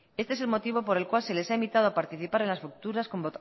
este es el motivo por el cual se les ha invitado a participar en las futuras